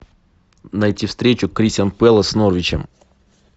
найти встречу кристал пэлас с норвичем